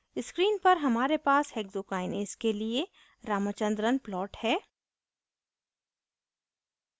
screen पर हमारे पास hexokinase के लिए ramachandran plot है